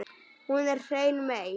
Hún er hrein mey.